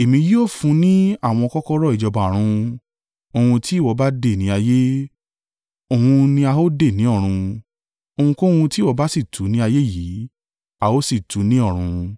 Èmi yóò fún ní àwọn kọ́kọ́rọ́ ìjọba Ọ̀run; ohun tí ìwọ bá dè ní ayé, òun ni a ó dè ní ọ̀run. Ohunkóhun tí ìwọ bá sì tú ní ayé yìí, a ó sì tú ní ọ̀run.”